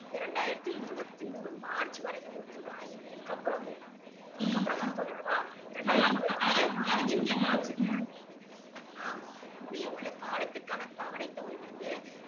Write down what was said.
இரண்டாயிரத்து இருபத்து மூணு மார்ச் வரைக்கும் குடுத்து இருக்காங்க இது இதுக்கு அப்பறம் இதுக்கு அப்பறம் வர போது அல்லவா ஆம் முடிய உள்ள காலத்திற் க்கான தவணை தொகை வந்து